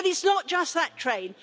But it's not just that train.